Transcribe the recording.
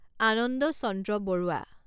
Ananda Chandra Barua